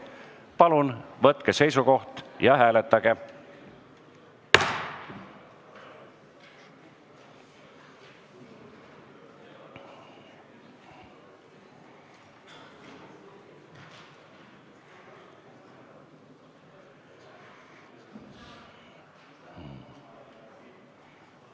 Palun võtke seisukoht ja hääletage!